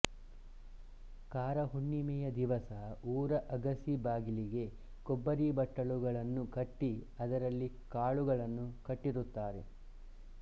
ಕಾರಹುಣ್ಣಿಮೆಯ ದಿವಸ ಊರ ಅಗಸಿ ಬಾಗಲಿಗೆ ಕೊಬ್ಬರಿ ಬಟ್ಟಲುಗಳನ್ನು ಕಟ್ಟಿ ಅದರಲ್ಲಿ ಕಾಳುಗಳನ್ನು ಕಟ್ಟಿರುತ್ತಾರೆ